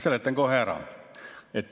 Seletan kohe ära.